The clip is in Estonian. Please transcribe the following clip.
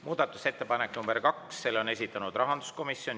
Muudatusettepanek nr 2, selle on esitanud rahanduskomisjon.